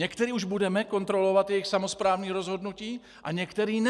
Některé už budeme - kontrolovat jejich samosprávné rozhodnutí a některé ne.